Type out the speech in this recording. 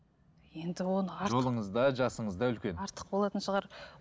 жолыңыз да жасыңыз да үлкен артық болатын шығар